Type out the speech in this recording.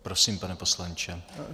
Prosím, pane poslanče.